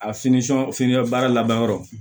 A finnan baara laban yɔrɔ